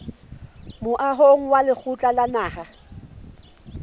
moahong wa lekgotla la naha